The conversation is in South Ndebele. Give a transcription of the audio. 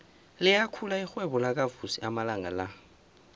liyakhula irhwebo lakavusi amalanga la